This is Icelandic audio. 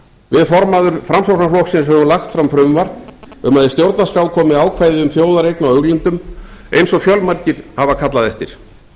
við formaður framsóknarflokksins höfum lagt fram frumvarp um að í stjórnarskrá komi ákvæði um þjóðareign á auðlindum eins og fjölmargir hafa kallað eftir